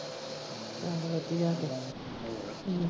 ਚਲ ਵਧੀਆ ਹਮ